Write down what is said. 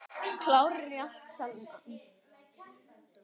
Klárir í allt saman?